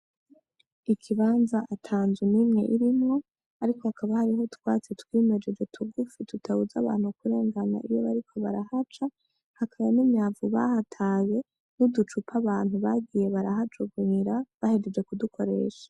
Ikibanza ata nzu nimwe irimwo ariko hakaba harimwo utwatsi twimejeje tugufi tutatabuza abantu kurengana iyo bariko barahaca hakaba n'imyavu bahataye nk'uducupa abantu bagiye barahajugunyira bahejeje kudukoresha.